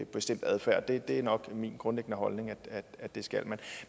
bestemt adfærd det er nok min grundlæggende holdning at det skal man